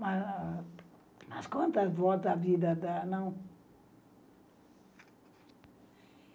Mas quantas voltas a vida dá, não?